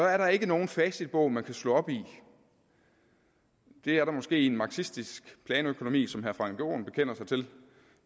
er der ikke nogen facitbog man kan slå op i det er der måske i en marxistisk planøkonomi som herre frank aaen bekender sig til